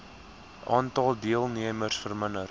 aantal deelnemers verminder